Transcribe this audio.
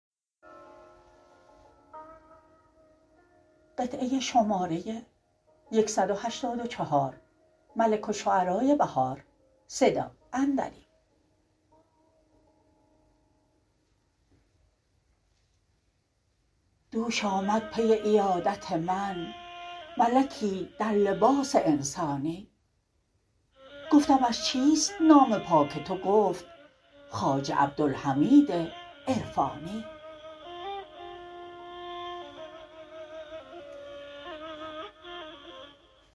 دوش آمد پی عیادت من ملکی در لباس انسانی گفتمش چیست نام پاک تو گفت خواجه عبدالحمید عرفانی